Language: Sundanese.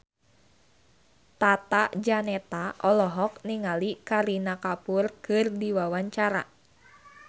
Tata Janeta olohok ningali Kareena Kapoor keur diwawancara